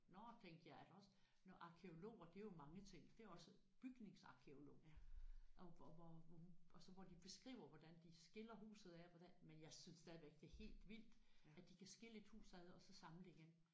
Nåh tænkte jeg er der også nåh arkæologer det er jo mange ting det er også bygningsarkæolog og hvor hvor hvor hun og så hvor de beskriver hvordan de skiller huset ad hvordan men jeg synes stadigvæk det er helt vildt at de kan skille et hus ad og så samle det igen